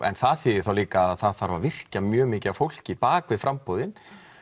en það þýðir þá líka að það þarf að virkja mjög mikið af fólki bak við framboðin